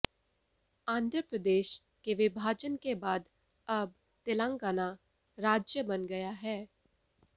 आंध्र प्रदेश के विभाजन के बाद अब तेलंगाना राज्य बन गया है